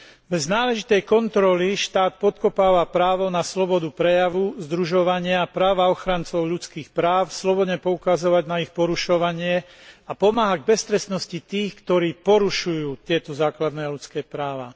Bez náležitej kontroly štát podkopáva právo na slobodu prejavu, združovania a práva ochrancov ľudských práv slobodne poukazovať na ich porušovanie a pomáha beztrestnosti tých, ktorí porušujú tieto základné ľudské práva.